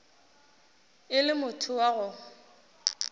e le motho wa go